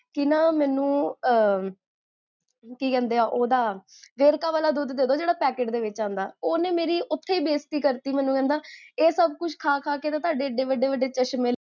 ਕੀ ਨਾ ਮੇਨੂ ਕੀ ਕਹੰਦੇ ਆ, ਓਦਾ ਵੇਰਕਾ ਵਾਲਾ ਦੁਧ, ਜੇਹੜਾ ਪੈਕੇਟ ਦੇ ਵਿੱਚ ਆਂਦਾ, ਓਨ੍ਨੇ ਮੇਰੀ ਓਥੇ ਹੀ ਬੇਸਤੀ ਕਰਤੀ ਮੈਨੂ ਕਹੰਦਾ ਇਹ ਸਬ ਕੁਛ ਖਾ ਖਾ ਕ ਤਾ ਤੁਹਾਡੇ ਇੰਨੇ ਵੱਡੇ ਵੱਡੇ ਚਸ਼੍ਮੇ